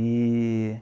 E